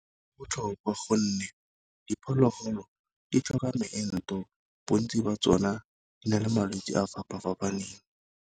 Botlhokwa gonne diphologolo di tlhoka moento bontsi ba tsona di na le malwetsi a fapa-fapaneng.